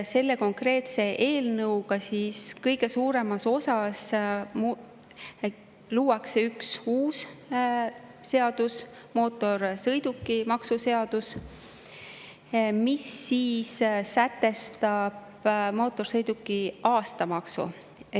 Selle konkreetse eelnõuga luuakse eelkõige üks uus seadus, mootorsõidukimaksu seadus, mis sätestab mootorsõiduki aastamaksu.